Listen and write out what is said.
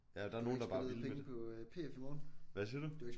Ja der er jo nogle der bare vil det. Hvad siger du?